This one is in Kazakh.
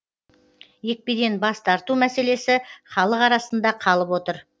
екпеден бас тарту мәселесі халық арасында қалып отыр